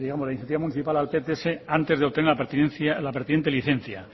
digamos la licencia municipal al pts antes de obtener la pertinente licencia